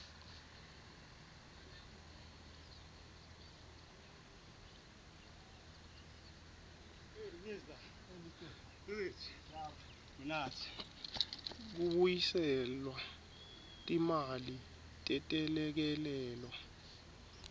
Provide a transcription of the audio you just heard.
kubuyiselelwa timali tetelekelelo